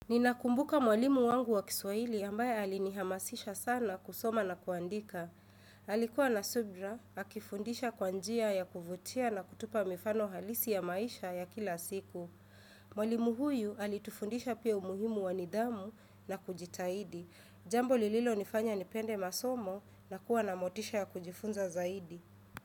Ninakumbuka mwalimu wangu wa kiswahili ambaye alinihamasisha sana kusoma na kuandika. Alikuwa na subra, akifundisha kwa njia ya kuvutia na kutupa mifano halisi ya maisha ya kila siku. Mwalimu huyu alitufundisha pia umuhimu wa nidhamu na kujitahidi. Jambo lililonifanya nipende masomo na kuwa na motisha ya kujifunza zaidi.